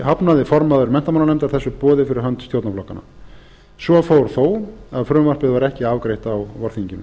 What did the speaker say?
hafnaði formaður menntamálanefndar þessu boði fyrir hönd stjórnarflokkanna svo fór þó að frumvarpið var ekki afgreitt á vorþinginu